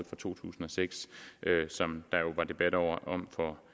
fra to tusind og seks som der var debat om for